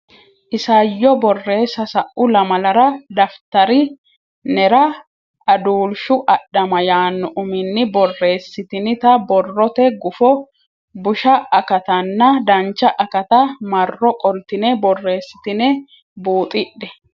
Isayyo Borreessa Sa u lamalara daftari nera Aduulshu Adhama yaanno uminni borreessitinita borrote gufo busha akatanna dancha akata marro qoltine borreessitine buuxidhe.